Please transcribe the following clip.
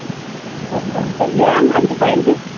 Four point five . ஏன்? அந்த அஞ்சு point ?